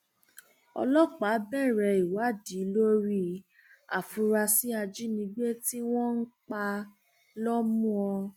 ọlọpàá bẹrẹ ìwádìí lórí àfúráṣí ajínigbé tí wọn pa lọmùọ